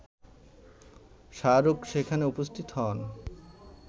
শাহরুখ সেখানে উপস্থিত হন